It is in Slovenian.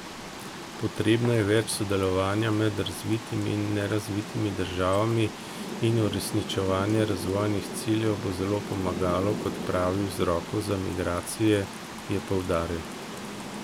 Potrebno je več sodelovanja med razvitimi in nerazvitimi državami in uresničevanje razvojnih ciljev bo zelo pomagalo k odpravi vzrokov za migracije, je poudaril.